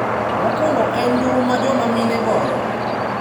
Mokuongo en nduru ma joma mine goyo.